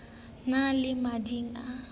ne le le mading a